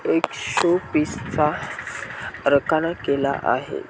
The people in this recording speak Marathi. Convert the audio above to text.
एक शो पिस चा रखाना केला आहे.